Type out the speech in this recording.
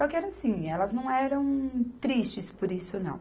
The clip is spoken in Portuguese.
Só que era assim, elas não eram tristes por isso, não.